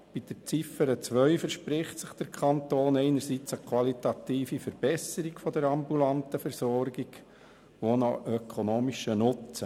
Bei der Ziffer 2 verspricht sich der Kanton eine qualitative Verbesserung der ambulanten Versorgung und auch einen ökonomischen Nutzen.